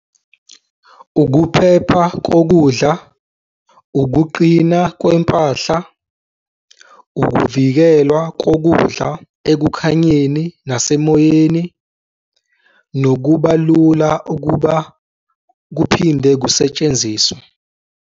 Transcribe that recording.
Ukuphepha kokudla, ukuqina kwempahla, ukuvikelwa kokudla ekukhanyeni nasemoyeni nokuba lula ukuba kuphinde kusetshenziswe.